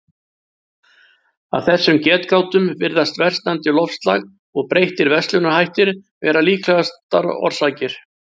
Af þessum getgátum virðast versnandi loftslag og breyttir verslunarhættir vera líklegastar orsakir.